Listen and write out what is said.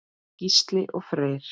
Gísli og Freyr.